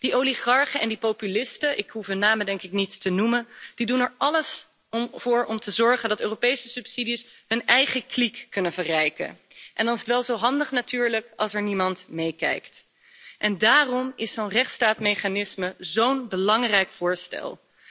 Die oligarchen en die populisten, ik hoef hun namen denk ik niet te noemen, die doen er alles voor om te zorgen dat Europese subsidies hun eigen kliek kunnen verrijken, en dan is het wel zo handig natuurlijk als er niemand meekijkt. Daarom is zo'n rechtsstaatmechanisme zo'n belangrijk voorstel.